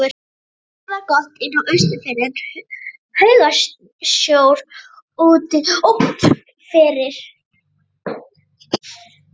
Veðrið var gott inni á Austurfirði en haugasjór úti fyrir.